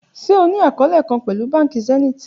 Ṣe o ni akọọlẹ kan pẹlu banki Zenith?